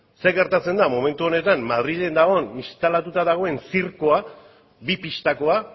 ze gertatzen da momentu honetan madrilen dagoen instalatuta dagoen zirkoa bi pistakoa